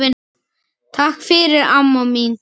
Takk fyrir, amma mín.